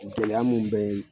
Gɛlɛya mun bɛ